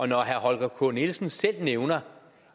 når herre holger k nielsen selv nævner